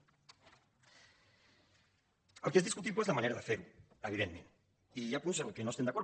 el que és discutible és la manera de fer ho evidentment i hi ha punts en què no estem d’acord